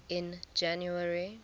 in january